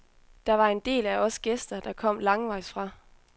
Der var en del af os gæster, der kom langvejs fra.